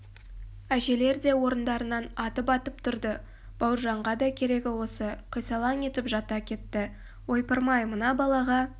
әжелер де орындарынан атып-атып тұрды бауыржанға да керегі осы қисалаң етіп жата кетті ойпырмай мына балаға